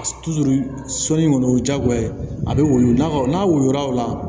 sɔni kɔni o ye diyagoya ye a bɛ woyo n'a woyo la